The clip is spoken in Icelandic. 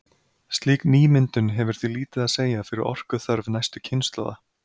Slík nýmyndun hefur því lítið að segja fyrir orkuþörf næstu kynslóða.